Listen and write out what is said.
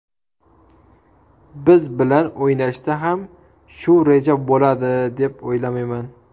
Biz bilan o‘yinda ham shu reja bo‘ladi deb o‘ylamayman.